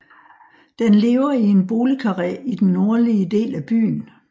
Den lever i en boligkarré i den nordlige del af byen